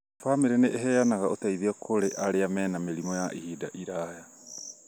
bamĩrĩ nĩ ĩheanga ũteithio kũrĩ arĩa mena mĩrimũ ya ihinda iraya